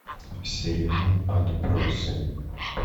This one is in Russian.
сериал отбросы